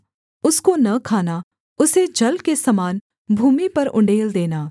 उसको न खाना उसे जल के समान भूमि पर उण्डेल देना